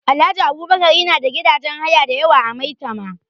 Alhaji Abubakar yana da gidajen haya da yawa a Maitama